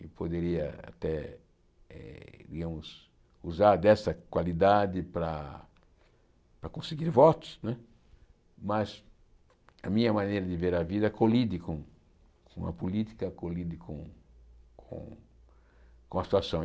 Eu poderia até eh usar dessa qualidade para para conseguir votos né, mas a minha maneira de ver a vida colide com com a política, colide com com a situação.